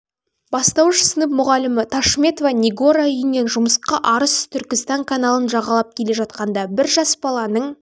бастауыш сынып мұғалімі ташметова нигора үйінен жұмысқа арыс-түркістан каналын жағалап келе жатқанда бір жас баланың